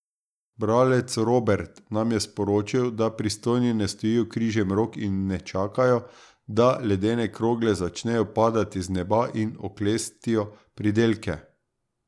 Bralec Robert nam je sporočil, da pristojni ne stojijo križem rok in ne čakajo, da ledene krogle začnejo padati z neba in oklestijo pridelke.